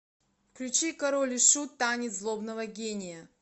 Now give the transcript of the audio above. включи король и шут танец злобного гения